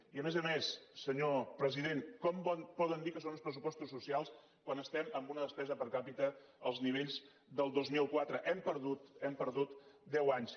i a més a més senyor president com poden dir que són uns pressupostos socials quan estem en una despesa per capita als nivells del dos mil quatre hem perdut hem perdut deu anys